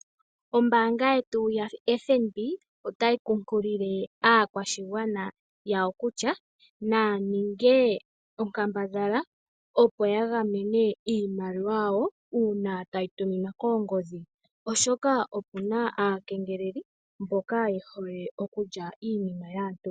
Ombaanga yetu yoFNB otayi kunkilile aakwashigwana yawo kutya, naya ninge onkambadhala opo yagamene iimaliwa yawo uuna tayi tuminwa koongodhi, oshoka opuna aakengeleledhi mboka yehole okulya iinima yaantu.